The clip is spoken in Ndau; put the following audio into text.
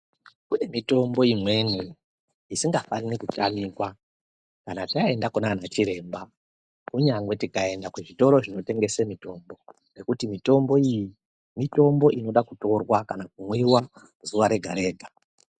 Kune mitombo imweni, isingafani kutamikwa ,kana taenda kunaanachiremba, kunyangwe tikaenda kuzvitoro zvinotengesa mitombo, nekuti mitomboyi, mitombo inoda kutorwa kana kumwiwa, zuwa rega-rega.